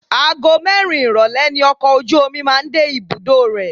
Ago mẹ́rin ìrólé ni ọkọ̀ ojú omi máa ń dé ibùdó rẹ̀.